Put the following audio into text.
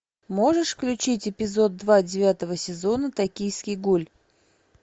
можешь включить эпизод два девятого сезона токийский гуль